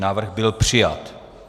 Návrh byl přijat.